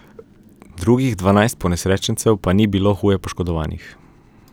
Drugih dvanajst ponesrečencev pa ni bilo huje poškodovanih.